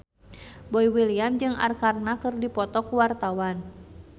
Boy William jeung Arkarna keur dipoto ku wartawan